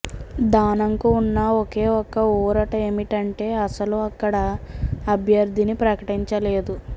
దానంకు ఉన్న ఒకే ఒక్క ఊరట ఏమిటంటే అసలు అక్కడ అభ్యర్థిని ప్రకటించలేదు